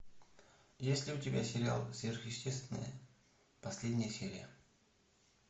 есть ли у тебя сериал сверхъестественное последняя серия